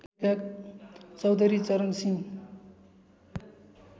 Chaudhary Charan Singh